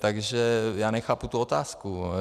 Takže já nechápu tu otázku.